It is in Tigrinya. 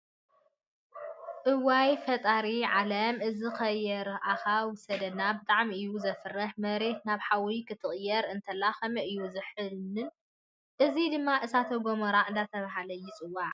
እወይ ! ፈጣሪ ዓለም እዚ ከየርኣካ ውሰደና ብጣዕሚ እዩ ዘፍርሕ መሬት ናብ ሓዊ ክትቅየር እንተላ ከመይ እዩ ዝኒሀ። እዙይ ድማ እሳተ ጎሞራ እንዳተባሃለ ይፅዋዕ።